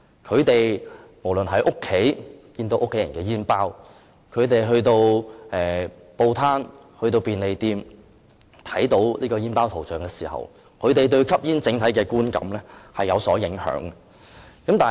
他們無論在家看到家人的煙包，或在報攤或便利店看到香煙封包的圖像警示，都會因而對吸煙產生不同的整體觀感。